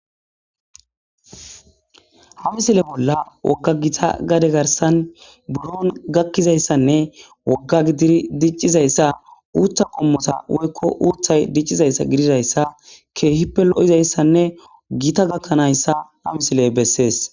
Ha misile bolla wogga gita gade garsan buron gakkizayssanne wogga gidiri diccizayssa uutha qommota woykko uuthay diccizayssa gididayssa keehippe lo'izayssanne giita gakkanayssa a misiley bessees.